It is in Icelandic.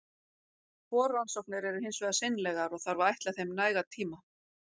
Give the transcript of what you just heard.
Forrannsóknir eru hins vegar seinlegar, og þarf að ætla þeim nægan tíma.